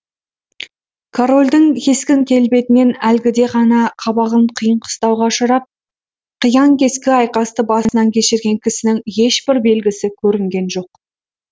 корольдің кескін келбетінен әлгіде ғана қабағын қиын қыстауға ұшырап қиян кескі айқасты басынан кешірген кісінің ешбір белгісі көрінген жоқ